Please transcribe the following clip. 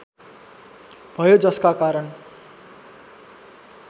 भयो जसका कारण